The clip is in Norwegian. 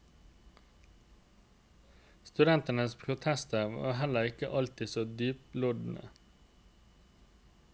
Studentenes protester var heller ikke alltid så dyptloddende.